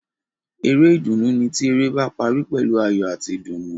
Eré ìdùnnú ni ti eré ba parí pẹ̀lú ayọ̀ ati ìdùnnú.